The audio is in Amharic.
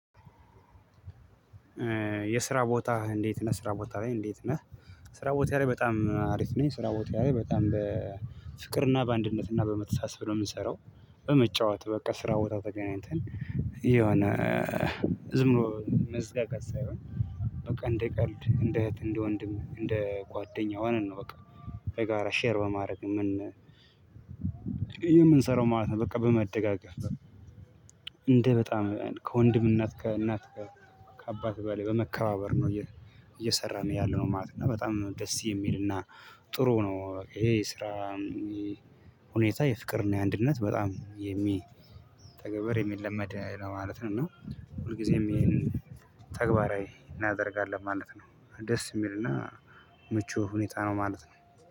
የስራ ቦታ እንዴት ነህ ስራ ቦታ ላይ እንዴት ነህ? ስራ ቦታ ላይ በጣም አሪፍ ነኝ ስራ ቦታ በጣም በፍቅርና በአንድነትና በመተሳሰብ ብሎ የምንሰራው። በመጫወት በቃ ስራ ቦታ ተገናኝተን የሆነ ዝም ብሎ መዝጋጋት ሳይሆን። በቃ እንደ ቀልድ እንደ እህት እንደ ወንድም እንደ ጓደኛ ሆነን ነው። በቃ በጋራ ሼር በማድረግ የምንሰራው ማለት ነው። በቃ በመደጋገፍ እንደ በጣም ከወንድም እናት ከእናት ከአባት በላይ በመከባበር ነው እየሰራን ያለነው ማለት ነው። በጣም ደስ የሚልና ጥሩ ነው። ይሄ የስራ ሁኔታ የፍቅርና የአንድነት በጣም የሚተገበር የሚለመድ ነው ማለት ነው። እና ሁልጊዜም ይሄን ተግባራዊ እናደርጋለን ማለት ነው። ደስ የሚልና ምቹ ሁኔታ ነው ማለት ነው።